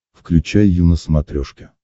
включай ю на смотрешке